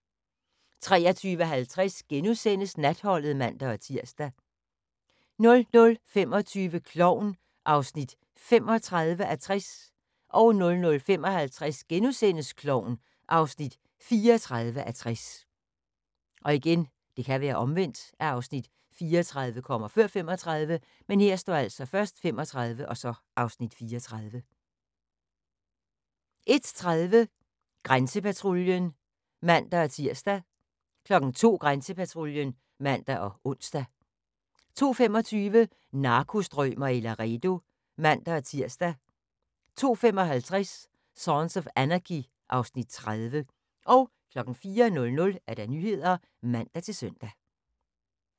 23:50: Natholdet *(man-tir) 00:25: Klovn (35:60) 00:55: Klovn (34:60)* 01:30: Grænsepatruljen (man-tir) 02:00: Grænsepatruljen (man og ons) 02:25: Narkostrømer i Laredo (man-tir) 02:55: Sons of Anarchy (Afs. 30) 04:00: Nyhederne (man-søn)